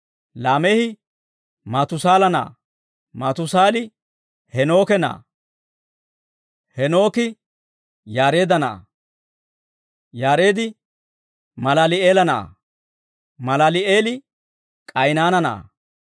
Laameehi Maatusaala na'aa; Maatusaali Heenooke na'aa; Heenooki Yaareedda na'aa; Yaareed Malaali'eela na'aa; Malaali'eeli K'aynaana na'aa;